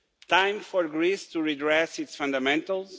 Time for Greece to redress its fundamentals